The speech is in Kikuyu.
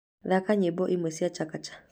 thaka nyĩmbo imwe cia chakacha